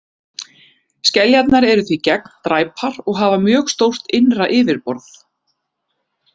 Skeljarnar eru því gegndræpar og hafa mjög stórt innra yfirborð.